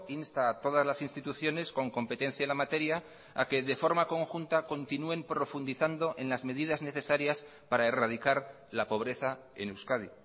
insta a todas las instituciones con competencia en la materia a que de forma conjunta continúen profundizando en las medidas necesarias para erradicar la pobreza en euskadi